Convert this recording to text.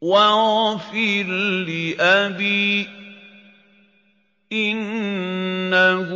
وَاغْفِرْ لِأَبِي إِنَّهُ